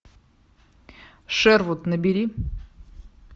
шервуд набери